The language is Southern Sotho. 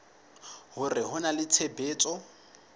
hore ho na le tshebetso